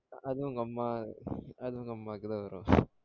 அது உங்க அம்மா அது உங்க அம்மாக்கு தான் வரும்